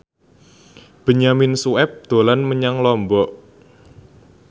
Benyamin Sueb dolan menyang Lombok